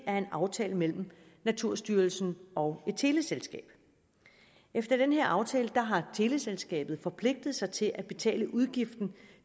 er en aftale mellem naturstyrelsen og et teleselskab efter den her aftale har teleselskabet forpligtet sig til at betale udgiften